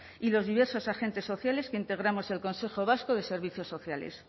y los diversos agentes sociales que integramos el consejo vasco de servicios sociales